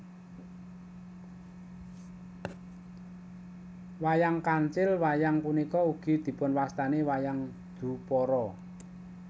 Wayang Kancil Wayang punika ugi dipunwastani wayang Dupara